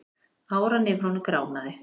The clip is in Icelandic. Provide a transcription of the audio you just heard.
Áran yfir honum gránaði.